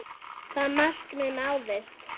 Það markmið náðist.